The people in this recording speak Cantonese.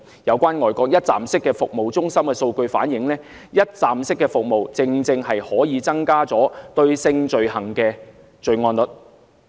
有關外國一站式服務中心的數據反映，一站式服務正正可以增加性罪行的報案率。